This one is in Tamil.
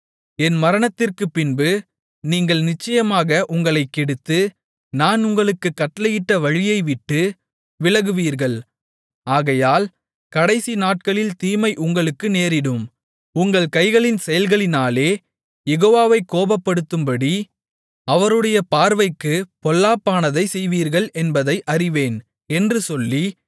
என் மரணத்திற்குப்பின்பு நீங்கள் நிச்சயமாக உங்களைக் கெடுத்து நான் உங்களுக்குக் கட்டளையிட்ட வழியை விட்டு விலகுவீர்கள் ஆகையால் கடைசி நாட்களில் தீமை உங்களுக்கு நேரிடும் உங்கள் கைகளின் செயல்களினாலே யெகோவாவைக் கோபப்படுத்தும்படி அவருடைய பார்வைக்குப் பொல்லாப்பானதைச் செய்வீர்கள் என்பதை அறிவேன் என்று சொல்லி